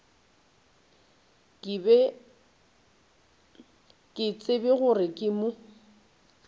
ke tsebe gore ke mo